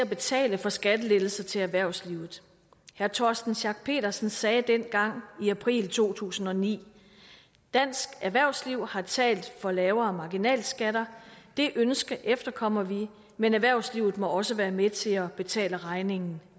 at betale for skattelettelser til erhvervslivet herre torsten schack pedersen sagde dengang i april 2009 dansk erhvervsliv har talt for lavere marginalskatter det ønske efterkommer vi men erhvervslivet må også være med til at betale regningen